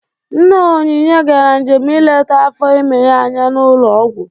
Nne Onynye gara njem ileta afọ ime ya anya n'ụlọ ọgwụ.